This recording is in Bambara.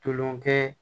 Tulonkɛ